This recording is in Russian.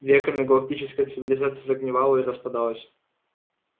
веками галактическая цивилизация загнивала и распадалась